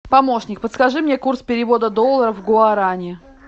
помощник подскажи мне курс перевода доллара в гуарани